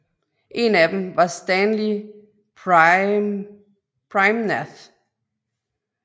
En af dem var Stanley Praimnath